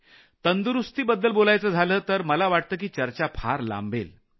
तंदुरूस्तीची गोष्ट आहे तर मला वाटतं की चर्चा फार लांबेल